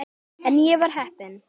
En ég var heppin.